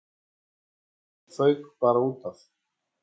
Bíllinn fauk bara útaf.